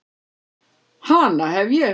Hana hef ég.